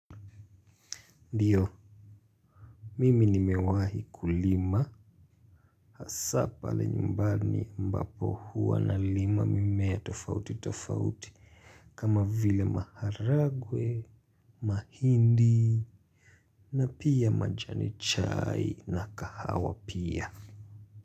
Ndiyo, mimi nimewahi kulima, hasa pale nyumbani mbapo hua nalima mimea tofauti tofauti, kama vile maharagwe, mahindi, na pia majani chai na kahawa pia.